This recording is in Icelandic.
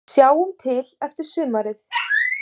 Sjáum til eftir sumarið